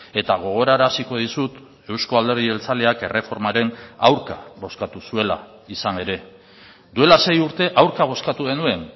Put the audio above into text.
eta gogoraraziko dizut eusko alderdi jeltzaleak erreformaren aurka bozkatu zuela izan ere duela sei urte aurka bozkatu genuen